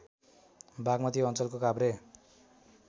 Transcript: बागमती अञ्चलको काभ्रे